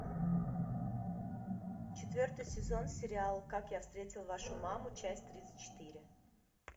четвертый сезон сериал как я встретил вашу маму часть тридцать четыре